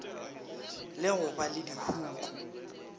le go ba le dihuku